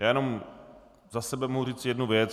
Já jen za sebe mohu říci jednu věc.